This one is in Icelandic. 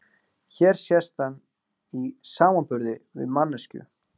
hér sést hann í samanburði við manneskju